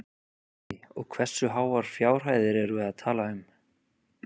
Guðný: Og hversu háar fjárhæðir erum við að tala um?